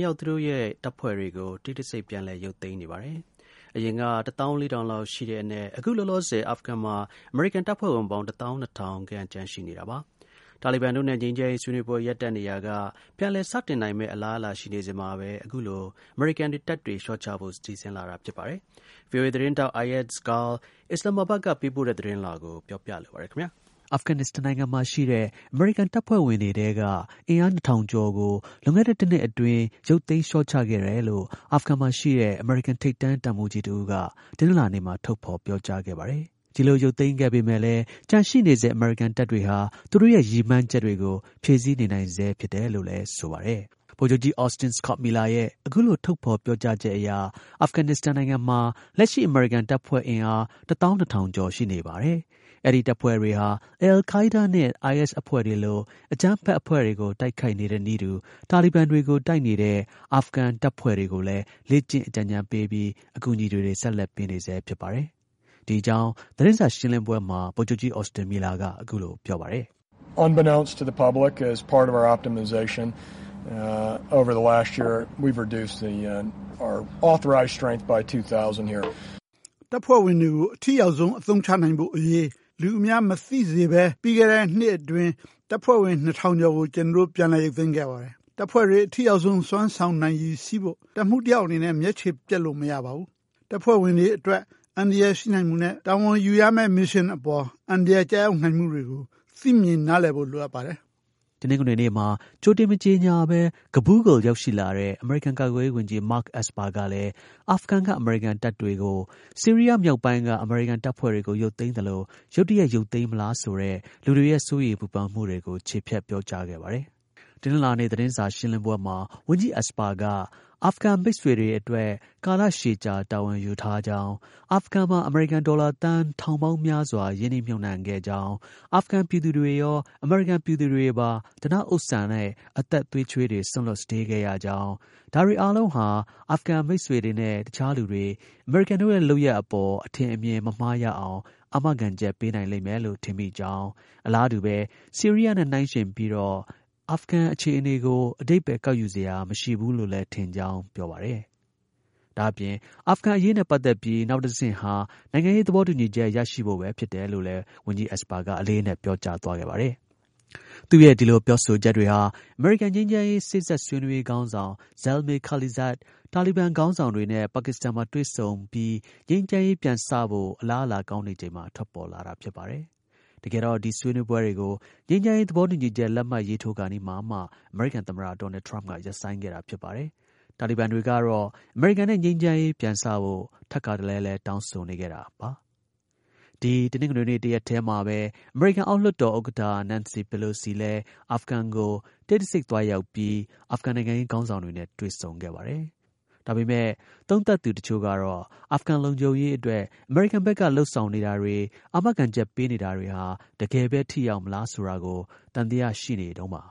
ရောက် သူတို့ရဲ့တပ်ဖွဲ့တွေကို တိတ်တဆိတ် ပြန်လည် ရုပ်သိမ်းနေပါတယ်။ အရင်က အာဖဂန် မှာ အမေရိကန် တပ်ဖွဲ့ဝင်ပေါင်း ၁၄၀၀၀ လောက် ခဲ့တဲ့အနက် အခုလောလောဆယ် အာဖဂန်မှာ လက်ရှိ အမေရိကန် တပ်ဖွဲ့အင်အား ၁၂၀၀၀ လောက် ကျန်ရှိနေပါတယ်။ တာလီဘန်တို့နဲ့ ငြိမ်းချမ်းရေးဆွေးနွေးပွဲ ရပ်တန့်နေရာက ပြန်လည် စတင်နိုင်မယ့် အလားအလာရှိနေစဉ်မှာပဲ အခုလို အမေရိကန်တပ်တွေလျှော့ချဖို့ စီစဉ် လာတာဖြစ်ပါတယ်။ VOA သတင်းထောက် Ayaz Gul, Islamabad ကပေးပို့တဲ့ သတင်းလွှာကို ကိုရဲမင်းထွန်း ပြောပြလိုပါတယ်။ အာဖဂန်နစ္စတန်မှာ ရှိတဲ့ အမေရိကန်တပ်ဖွဲ့ဝင်တွေရဲ့ အင်အား ၂၀၀၀ ကျော်ကို လွန်ခဲ့တဲ့ တစ်နှစ်အတွင်း ရုပ်သိမ်း လျှော့ချခဲ့တယ်လို့ အာဖဂန်မှာ ရှိတဲ့ အမေရိကန် ထိပ်တန်း တပ်မှူးကြီး တစ်ဦးက တနင်္လာနေ့မှာ ထုတ်ဖော်ပြောကြားခဲ့ပါတယ်။ ဒီလို ရုပ်သိမ်းခဲ့ပေမဲ့လည်း ကျန်ရှိဆဲ အမေရိကန် တပ်တွေဟာ သူတို့ရဲ့ ရည်ရွယ်မှန်းချက်တွေကို ဖြည့်ဆည်းနေနိုင်ဆဲဖြစ်တယ်လို့လည်း ဆိုပါတယ်။ ဗိုလ်ချုပ်ကြီး Austin Scott Miller ရဲ့ အခုလို ထုတ်ဖော်ပြောကြားချက်အရ အာဖဂန်မှာ လက်ရှိ အမေရိကန် တပ်ဖွဲ့အင်အား ၁၂၀၀၀ ကျော် ရှိနေပါတယ်။ အဲဒီ တပ်ဖွဲ့တွေဟာ အယ်လ်ခိုင်းဒါးနဲ့ အိုင်အက်စ်အဖွဲ့တွေလို အကြမ်းဖက်အဖွဲ့တွေကို တိုက်ခိုက်နေတဲ့နည်းတူ တာလီဘန် တွေကို တိုက်နေတဲ့ အာဖဂန်တပ်ဖွဲ့တွေကိုလည်း လေ့ကျင့် အကြံဉာဏ်ပေးပြီး အကူအညီတွေ ဆက်လက်ပေးနေဆဲဖြစ်ပါတယ်။ ဒီ အကြောင်း သတင်းစာ ရှင်လင်းပွဲမှာ ဗိုလ်ချုပ်ကြီး Austin Miller က ပြောပါတယ်။ “တပ်ဖွဲ့ဝင်တွေကို အထိရောက်ဆုံး အသုံးချနိုင်ဖို့အရေး လူအများမသိစေဘဲ ပြီးခဲ့တဲ့ နှစ်အတွင်း တပ်ဖွဲ့ဝင် ၂၀၀၀ ကျော်ကို ကျွန်တော်တို့ ပြန် ရုပ်သိမ်းခဲ့ပါတယ်။ တပ်ဖွဲ့တွေ အထိရောက်ဆုံး စွမ်းဆောင်နိုင်ရည်ရှိဖို့ တပ်မှူးတစ်ယောက်အနေနဲ့ မျက်ခြေပျက်လို့ မရပါဘူး။ တပ်ဖွဲ့ဝင်တွေအတွက် အန္တရာယ်ရှိနိုင်မှုနဲ့ မစ်ရှင်အပေါ် အန္တရာယ်ကျရောက်နိုင်မှုတွေကို သိမြင် နားလည်ဖို့ လိုပါတယ်။” တနင်္ဂနွေနေ့မှာ ကြိုတင် မကြေညာဘဲ ကဘူးလ်းကို ရောက်ရှိလာတဲ့ အမေရိကန် ကာကွယ်ရေးဝန်ကြီး Mark Esper ကလည်း အာဖဂန်က အမေရိကန်တပ်တွေကိုလည်း ဆီရီးယား မြောက်ပိုင်းက အမေရိကန်တပ်ဖွဲ့တွေကို ရုပ်သိမ်းသလို ရုတ်တရက် ရုပ်သိမ်းမလားဆိုတဲ့ လူတွေ ရဲ့ စိုးရမ်ပူပန်မှုတွေကို ချေဖျက်ပြောကြားခဲ့ပါတယ်။ တနင်္လာနေ့ သတင်းစာ ရှင်းလင်းပွဲမှာ ဝန်ကြီး Esper က အာဖဂန်မိတ်ဆွေတွေအတွက် ကာလရှည်ကြာ တာဝန်ယူထားကြောင်း၊ အာဖဂန်မှာ အမေရိကန် ဒေါ်လာသန်းထောင်ပေါင်းများစွာ ရင်းနှီမြှုပ်နှံခဲ့ကြောင်း၊ အာဖဂန် ပြည်သူတွေရော အမေရိကန် ပြည်သူတွေပါ ဓနဥစ္စာနဲ့ အသက်သွေးချွေးတွေ စွန့်လွှတ် စတေးခဲ့ရကြောင်း၊ ဒါတွေအားလုံးက အာဖဂန်မိတ်ဆွေတွေနဲ့ တစ်ခြားလူတွေ အမေရိကန်တို့ရဲ့ လုပ်ရပ် အပေါ် အထင်အမြင် မမှားရအောင် အာမခံချက် ပေးလိမ့်မယ်လို့ ထင်မိကြောင်း၊ အလားတူပဲ ဆီရီးယားနဲ့ နှိုင်းယှဉ်ပြီးတော့ အာဖဂန် အခြေ အနေကို အဓိပ္ပါယ် ကောက်ယူစရာ မရှိဘူးလို့လည်းထင်ကြောင်း ပြောပါတယ်။ ဒါ့အပြင် အာဖဂန် အရေးနဲ့ ပတ်သက်ပြီး နောက်တဆင့်ဟာ နိုင်ငံရေး သဘောတူညီချက် ရရှိဖို့ပဲ ဖြစ်တယ်လို့လည်း ဝန်ကြီး Esper က အလေးအနက် ပြောကြားသွားပါတယ်။ သူ့ရဲ့ ဒီ ပြောဆိုချက်တွေဟာ အမေရိကန် ငြိမ်းချမ်းရေး စေ့စပ်ဆွေးနွေးရေး ခေါင်းဆောင် Zalmay Khalilzad တာလီဘန်ခေါင်းဆောင်တွေနဲ့ ပါကစ္စတန်မှာ တွေ့ဆုံပြီး ငြိမ်းချမ်းရေး ပြန်စဖို့ အလားအလာ ကောင်းနေချိန်မှာ ပေါ်ထွက်လာတာ ဖြစ်ပါတယ်။ တကယ်တော့ ဒီ ဆွေးနွေးပွဲ တွေကို ငြိမ်းချမ်းရေး သဘောတူညီချက် လက်မှတ်ရေးထိုးခါနီးမှာမှ အမေရိကန်သမ္မတ ဒေါ်နယ်ထရမ့်က ရပ်ဆိုင်းခဲ့တာ ဖြစ်ပါတယ်။ တာလီဘန်တွေကတော့ အမေရိကန်နဲ့ ငြိမ်းချမ်းရေး ပြန်စဖို့ ထပ်ခါတစ်လဲလဲ တောင်းဆိုနေခဲ့တာပါ။ ဒီ တနင်္ဂနွေနေ့ တစ်ရက်တည်းမှာပဲ အမေရိကန် အောက်လွှတ်တော် ဥက္ကဌ Nancy Pelosi လည်း အာဖဂန်ကို တိတ်တဆိတ် သွံားရောက်ပြီး အာဖဂန် နိုင်ငံရေး ခေါင်းဆောင်တွေနဲ့ တွေ့ဆုံခဲ့ပါတယ်။ ဒါပေမဲ့ သုံးသပ်သူ တစ်ချို့ကတော့ အာဖဂန် လုံခြုံရေးအတွက် အမေရိကန် ဘက်က လုပ်ဆောင် နေတာတွေ အာမခံချက်ပေးနေတာတွေဟာ တကယ်ပဲ ထိရောက်မလားဆိုတာကို သံသယ ရှိနေကြတုန်းပါ